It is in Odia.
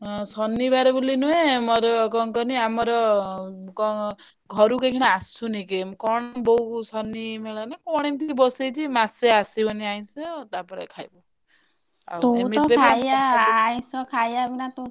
ଅଁ ଶନିବାରେ ବୋଲି ନୁହେ ମୋର କଣ କହନି? ଆମର ଘରକୁ ଏଇଖିନା ଅସୁନି କେହି ମୁଁ କଣ ବୋଉକୁ ଶନିମେଳାନା କଣ ଏମିତି ବସେଇଛି ମାସେ ଆସିବନି ଆଇଂଷ ତାପରେ ଖାଇବୁ ଆଉ ଏମିତିରେ ବି ତୁ ତ ଖାଇଆ ଆଇଂଷ ଖାଇଆ ବିନା ତୁ।